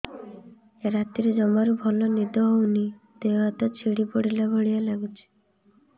ରାତିରେ ଜମାରୁ ଭଲ ନିଦ ହଉନି ଦେହ ହାତ ଛିଡି ପଡିଲା ଭଳିଆ ଲାଗୁଚି